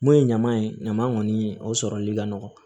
Mun ye ɲama ye ɲama kɔni o sɔrɔli ka nɔgɔ